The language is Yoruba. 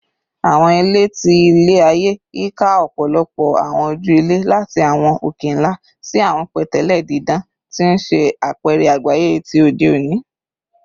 Awọn ilẹ ti ilẹ-aye yika ọpọlọpọ awọn oju-ilẹ, lati awọn oke-nla si awọn pẹtẹlẹ didan, ti n ṣe apẹrẹ agbaye ti ode oni.